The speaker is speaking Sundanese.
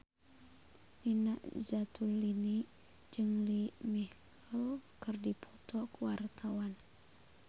Nina Zatulini jeung Lea Michele keur dipoto ku wartawan